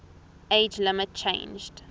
age limit changed